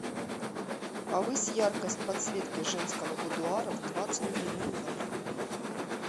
повысь яркость подсветки женского будуара в двадцать три ноль ноль